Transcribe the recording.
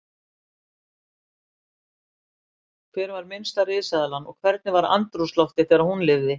Hver var minnsta risaeðlan og hvernig var andrúmsloftið þegar hún lifði?